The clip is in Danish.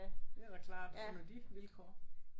Det er da klart under de vilkår